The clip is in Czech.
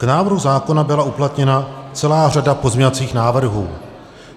K návrhu zákona byla uplatněna celá řada pozměňovacích návrhů.